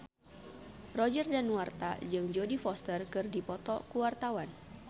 Roger Danuarta jeung Jodie Foster keur dipoto ku wartawan